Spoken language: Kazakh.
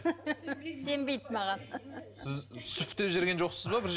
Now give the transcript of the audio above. сенбейді маған сіз сүф деп жіберген жоқсыз ба